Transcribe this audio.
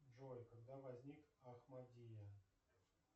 джой когда возник ахмадия